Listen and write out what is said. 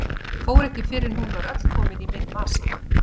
Fór ekki fyrr en hún var öll komin í minn vasa.